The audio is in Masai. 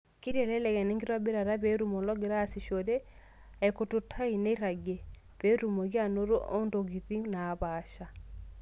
Keitelelek ena enkitobirata, peetum ologira aasishore aikurrtutai nerragie, oo peetumoki anoto ntokiting' naapasha.